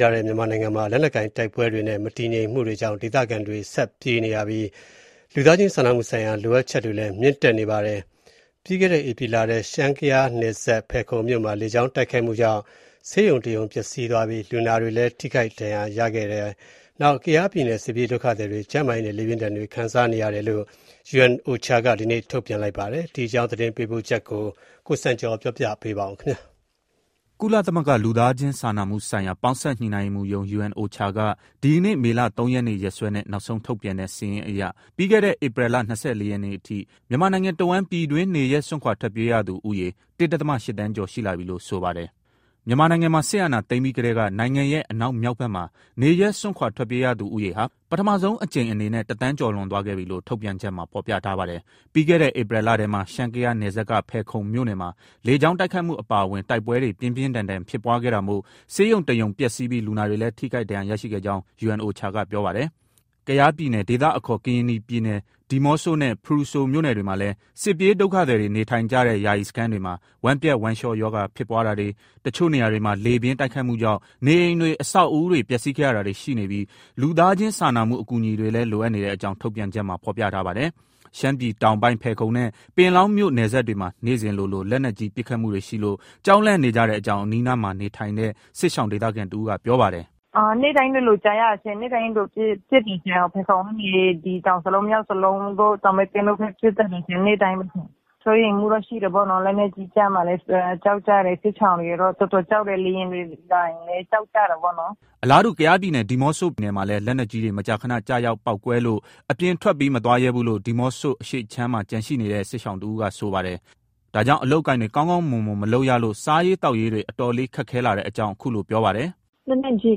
ထားတဲ့ မြန်မာနိုင်ငံမှာ လက်နက်ကိုင်တိုက်ပွဲတွေနဲ့ နယ်မြေမတည်ငြိမ်တဲ့ အခြေအနေကြောင့် ဒေသခံတွေ ဆက်လက် ပြေးလွှားနေရပြီး လူသားချင်းစာနာမှု ဆိုင်ရာလိုအပ်ချက်တွေလည်း မြင့်တက်နေပါတယ်။ ပြီးခဲ့တဲ့ ဧပြီလထဲက ရှမ်း-ကယား(ကရင်နီ)နယ်စပ် ဖယ်ခုံမြို့နယ်မှာ လေကြောင်းတိုက်ခိုက်မှုကြောင့် ဆေးရုံတစ်ရုံပျက်စီးပြီး လူနာတွေလည်း ထိခိုက် ဒဏ်ရာရရှိခဲ့တဲ့အကြောင်းနဲ့ တစ်ချိန်တည်းမှာပဲ ကယားပြည်နယ် စစ်ပြေးဒုက္ခသည်တွေကြား ကျန်းမာရေးပြဿနာနဲ့ လေပြင်းတိုက်ခတ်မှုဒဏ်တွေ ခံစားနေရတဲ့အကြောင်း UNOCHA က ဒီနေ့ ထုတ်ပြန်ထားပါတယ်။ ဒီအကြောင်း သတင်းပေးပို့ချက်ကို အခြေခံပြီး ကိုစံကျော်က တင်ပြပေးပါမယ်။ ကုလသမဂ္ဂ လူသားချင်းစားနာမှုဆိုင်ရာ ပေါင်းစပ်ညှိနှိုင်းရေးမှူးရုံး (UNOCHA) က ဒီကနေ့ မေလ ၃ ရက်နေ့ ရက်စွဲနဲ့ နောက်ဆုံးထုတ်ပြန်တဲ့ စာရင်းအရ ပြီးခဲ့တဲ့ ဧပြီလ ၂၄ ရက်နေ့အထိ မြန်မာနိုင်ငံတစ်ဝန်း ပြည်တွင်း နေရပ်စွန့်ခွာထွက်ပြေးရသူ ဦးရေ ၁ ဒသမ ၈ သန်းကျော်ရှိလာပြီလို့ ဆိုပါတယ်။ မြန်မာနိုင်ငံမှာ စစ်အာဏာသိမ်းပြီးကတည်းက နိုင်ငံရဲ့ အနောက်မြောက်ဖက်မှာ နေရပ်စွန့်ခွာ ထွက်ပြေးကြရသူဦးရေဟာ ပထမဆုံးအကြိမ် အနေနဲ့ ၁ သန်း ကျော်လွန်သွားခဲ့ပြီလို့ ထုတ်ပြန်ချက်မှာ ဖော်ပြထားပါတယ်။ ပြီးခဲ့တဲ့ ဧပြီလထဲမှာ ရှမ်း-ကယားနယ်စပ်က ဖယ်ခုံမြို့နယ်မှာ လေကြောင်းတိုက်ခိုက်မှု အပါအဝင် တိုက်ပွဲတွေ ပြင်းပြင်းထန်ထန် ဖြစ်ပွားခဲ့တာမို့ ဆေးရုံတစ်ရုံ ပျက်စီးပြီး လူနာတွေလည်း ထိခိုက်ဒဏ်ရာရရှိခဲ့ကြောင်း UNOCHA ပြောပါတယ်။ ကယားပြည်နယ်၊ ဒေသအခေါ် ကရင်နီပြည်နယ်၊ ဒီးမော့ဆိုနဲ့ ဖရူဆိုမြို့နယ်တွေမှာလည်း စစ်ပြေးဒုက္ခသည်တွေ နေထိုင်ကြတဲ့ ယာယီ စခန်းတွေမှာ ဝမ်းပျက် ဝမ်းလျှောရောဂါ ဖြစ်ပွားတာတွေ၊ တချို့နေရာတွေမှာ လေပြင်းတိုက်ခတ်မှုကြောင့် နေအိမ်တွေ အဆောက်အဦးတွေ ပျက်စီးခဲ့တာတွေ ရှိနေပြီး လူသားချင်းစာနာမှု အကူအညီတွေလည်း လိုအပ်နေတဲ့အကြောင်း ထုတ်ပြန်ချက်မှာ ဖော်ပြထားပါတယ်။ ရှမ်းပြည်တောင်ပိုင်း၊ ဖယ်ခုံနဲ့ ပင်လောင်းမြို့နယ်စပ်တွေမှာ နေ့စဉ်လိုလို လက်နက်ကြီးပစ်ခတ်မှုတွေရှိလို့ ကြောက်လန့်နေရတဲ့အကြောင်း အနီးအနားမှာ နေထိုင်တဲ့ စစ်ရှောင်ဒေသခံတဦးက ပြောပါတယ်။ “နေ့တိုင်းလိုလိုကြားရတယ်ရှင့်၊ နေ့တိုင်းလိုလိုပစ်တယ်ရှင့်။ ဖယ်ခုံကနေ ဒီတောင်စလုံး မြောင်စလုံးတို့၊ တောင်မဲသင်းတို့ဖက် ပစ်တတ်တယ်ရှင့်၊ နေ့တိုင်းပဲရှင့်။ စိုးရိမ်မှုတော့ ရှိတယ်ပေါ့နော်။ လက်နက်ကြီးကျမှာလည်း ကြောက်ကြတယ်။ စစ်ရှောင်တွေကတော့ တော်တော်ကြောက်တယ်။ လေယာဉ်တွေ လာရင်လည်း ကြောက်ကြတယ်ပေါ့နော်။” အလားတူ ကယားပြည်နယ် ဒီးမော့ဆိုမြို့နယ်မှာလည်း လက်နက်ကြီးတွေ မကြာခဏ ကျရောက်ပေါက်ကွဲလို့ အပြင်ထွက်ပြီး မသွားရဲဘူးလို့ ဒီးမော့ဆို အရှေ့ခြမ်းမှာကျန်ရှိနေတဲ့ စစ်ရှောင်တဦးက ဆိုပါတယ်။ ဒါကြောင့် အလုပ်အကိုင်တွေ ကောင်းကောင်းမွန်မွန် မလုပ်ရလို့ စားရေး သောက်ရေးတွေ အတော်လေး ခက်ခဲလာတဲ့အကြောင်း ခုလို ပြောပါတယ်။ “လက်နက်ကြီး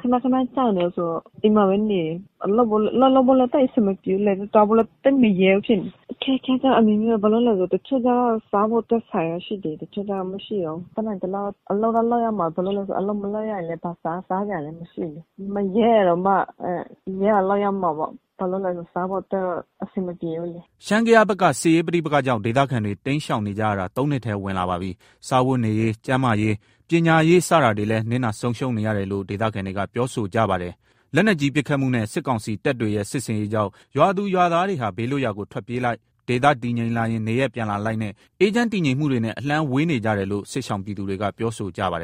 ခဏခဏကျနေတယ်ဆိုတော့ ဒီမှာပဲနေတယ်။ အလုပ်လုပ်ဖို့ သိပ်အဆင်မပြေဘူးလေ။ သွားဖို့လည်း သိပ်မရဲဘူးဖြစ်နေတယ်။ အခက်အခဲကျတော့ အမျိုးမျိုး၊ ဘာလို့ဆို တချို့ကျတော့ စားဖို့အတွက် ဆန်က ရှိသေးတယ်၊ တချို့က မရှိတော့ဘူး။ တတ်နိုင်သလောက် အလုပ်က လုပ်ရမှာပဲ။ ဘာလို့ဆို အလုပ် မလုပ်ရရင်လည်း ဘာမှ စားစရာလည်း မရှိဘူးလေ။ မရဲတာတောင်မှ ရဲအောင်လုပ်ရမှာပေါ့။ ဘာလို့လဲဆိုတော့ စားဖို့အတွက်တော့ အဆင်မပြေဘူးလေ။” ရှမ်း-ကယားဘက်က စစ်ရေးပဋိပက္ခကြောင့် ဒေသခံတွေ တိမ်းရှောင်နေကြရတာ ၃နှစ်ထဲဝင်လာပါပြီ။ စားဝတ်နေရေး၊ ကျန်းမာရေး၊ ပညာရေး စတာတွေလည်း နစ်နာဆုံးရှုံးနေရတယ်လို့ ဒေသခံတွေက ပြောဆိုကြပါတယ်။ လက်နက်ကြီးပစ်ခတ်မှုနဲ့ စစ်ကောင်စီတပ်တွေရဲ့ စစ်ဆင်ရေးကြောင့် ရွာသူရွာသားတွေဟာ ဘေးလွတ်ရာကို ထွက်ပြေးလိုက်၊ ဒေသတည်ငြိမ်လာရင် နေရပ်ပြန်လာလိုက်နဲ့ အေးချမ်းတည်ငြိမ်မှုတွေနဲ့ အလှမ်းဝေးနေကြတယ်လို့ စစ်ရှောင်ပြည်သူတွေက ပြောဆိုကြပါတယ်